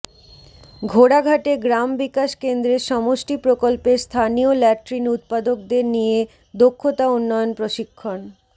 ঘোড়াঘাটে গ্রাম বিকাশ কেন্দ্রের সমষ্টি প্রকল্পের স্থানীয় ল্যাট্রিন উৎপাদকদের নিয়ে দক্ষতা উন্নয়ন প্রশিক্ষণ